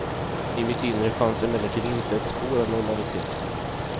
I mitt inre fanns emellertid inte ett spår av normalitet.